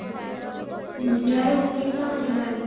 ଇଆଡେ ଉଠେଇଥିଲା but ହେଲାନି